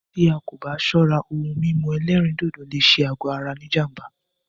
Tí ẹ́ kò bá ṣọ́rá, òhún mímú ẹ̀lẹ́rìndodò lé ṣé àgọ ara ní jám̀bá.